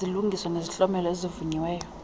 izilungiso nezihlomelo ezivunyiweyo